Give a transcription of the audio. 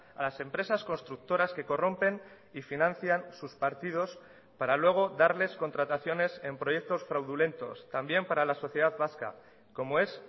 a las empresas constructoras que corrompen y financian sus partidos para luego darles contrataciones en proyectos fraudulentos también para la sociedad vasca como es